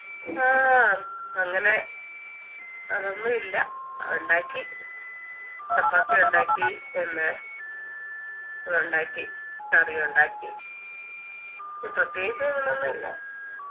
ആഹ് അങ്ങനെ അങ്ങനൊന്നും ഇല്ല ഉണ്ടാക്കി ചപ്പാത്തിയുണ്ടാക്കി പിന്നെ ഉണ്ടാക്കി കറിയുണ്ടാക്കി പ്രത്യേകിച്ച് അങ്ങനൊന്നും ഇല്ല